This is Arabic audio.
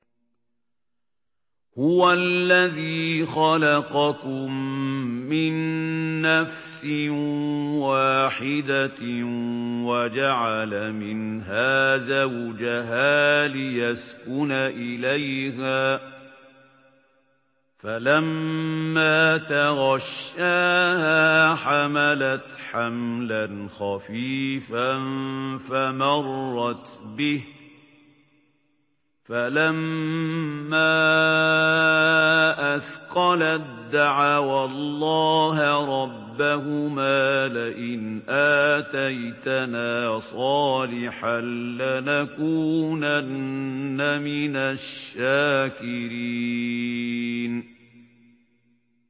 ۞ هُوَ الَّذِي خَلَقَكُم مِّن نَّفْسٍ وَاحِدَةٍ وَجَعَلَ مِنْهَا زَوْجَهَا لِيَسْكُنَ إِلَيْهَا ۖ فَلَمَّا تَغَشَّاهَا حَمَلَتْ حَمْلًا خَفِيفًا فَمَرَّتْ بِهِ ۖ فَلَمَّا أَثْقَلَت دَّعَوَا اللَّهَ رَبَّهُمَا لَئِنْ آتَيْتَنَا صَالِحًا لَّنَكُونَنَّ مِنَ الشَّاكِرِينَ